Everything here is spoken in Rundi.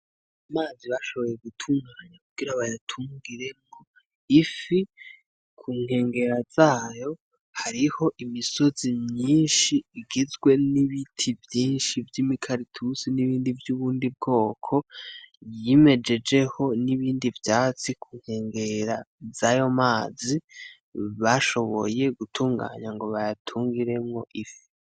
Amazi bashoboye gutunganya kugira bayatungiremwo ifi. Kunkengera zayo hariho imisozi myinshi igizwe n'ibiti vyinshi vy'imikaratusi, n'ibindi vy'ubundi bwoko vyimejejeho n'ibindi vyatsi kunkengera z'ayo mazi bashoboye gutunganya ngo bayatungiremwo ifi.